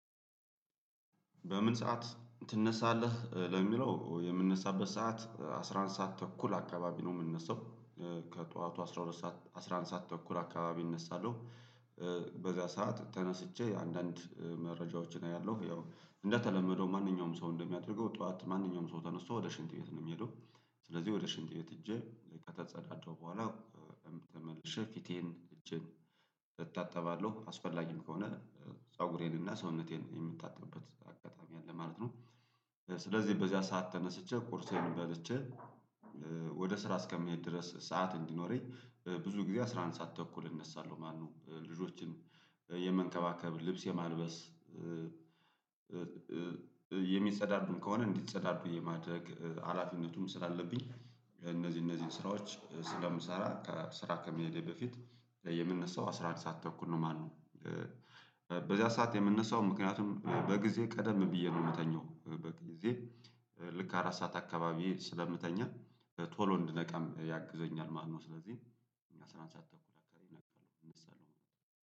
በምን ሰዓት ትነሳለህ? ለሚለው የምነሳበት ሰዓት አስራ አንድ ሰዓት ተኩል አካባቢ ነው የምነሳው። ከጠዋቱ አስራ ሁለት ሰዓት አስራ አንድ ሰዓት ተኩል አካባቢ እነሳለሁ። በዛ ሰዓት ተነስቼ አንዳንድ መረጃዎችን አያለሁ ያው እንደተለመደው ማንኛውም ሰው እንደሚያደርገው ጠዋት ማንኛውም ሰው ተነስቶ ወደ ሽንት ቤት ነው የሚሄደው ስለዚህ ወደ ሽንት ቤት ሄጄ ከተጸዳዳው በኋላ ተመልሼ ፊቴን እጄን እታጠባለሁ አስፈላጊም ከሆነ ፀጉሬንና ሰውነቴን የምታጠብበት አጋጣሚ አለ ማለት ነው። ስለዚህ በዚያ ሰዓት ተነስቼ ቁርሴን በልቼ ወደ ስራ እስከሚሄድ ድረስ ሰዓት እንዲኖረኝ ብዙ ጊዜ አስራ አንድ ሰዓት ተኩል እነሳለሁ ማለት ነው። ልጆችን የመንከባከብ ልብስ የማልበስ የሚጸዳዱም ከሆነ እንዲጸዳዱ የማድረግ ሀላፊነቱም ስላለብኝ እነዚህ እነዚህን ስራዎች ስለምሰራ ከስራ ከመሄዴ በፊት የምነሳው አስራ አንድ ሰዓት ተኩል ነው ማለት ነው። በዚያ ሰዓት የምነሳው ምክንያቱም በጊዜ ቀደም ብዬ ነው የምተኛው በጊዜ ልክ አራት ሰዓት አካባቢ ስለምተኛ ቶሎ እንድነቃም ያግዘኛል ማለት ነው። ስለዚህ አስራ አንድ ሰዓት ተኩላ እነቃለሁ እንሳለው